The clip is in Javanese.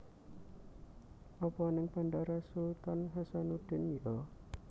Opo ning Bandara Sultan Hassanudin yo?